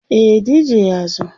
e DJ ya zo